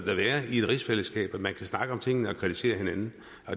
i et rigsfællesskab at man kan snakke om tingene og kritisere hinanden